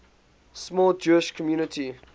small jewish community